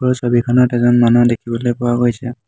ওপৰৰ ছবিখনত এজন মানুহ দেখিবলৈ পোৱা গৈছে।